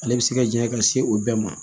Ale bɛ se ka janya ka se o bɛɛ ma